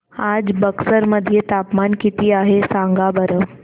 आज बक्सर मध्ये तापमान किती आहे सांगा बरं